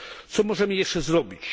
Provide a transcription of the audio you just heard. Co możemy jeszcze zrobić?